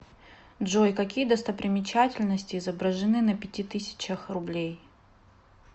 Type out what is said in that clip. джой какие достопримечательности изображены на пяти тысячах рублей